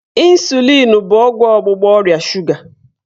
Ịnsulịn bụ ọgwụ ọgbụgba ọrịa shuga.